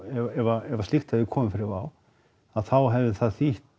ef að slíkt hefði komið fyrir Wow þá hefði það þýtt